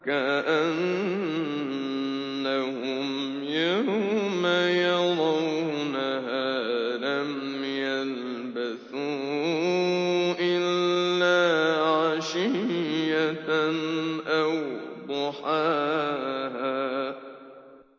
كَأَنَّهُمْ يَوْمَ يَرَوْنَهَا لَمْ يَلْبَثُوا إِلَّا عَشِيَّةً أَوْ ضُحَاهَا